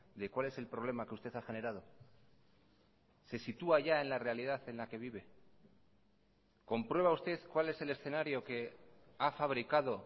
de cuál es el problema que usted ha generado se sitúa ya en la realidad en la que vive comprueba usted cuál es el escenario que ha fabricado